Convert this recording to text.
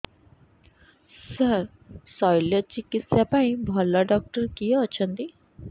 ସାର ଶଲ୍ୟଚିକିତ୍ସା ପାଇଁ ଭଲ ଡକ୍ଟର କିଏ ଅଛନ୍ତି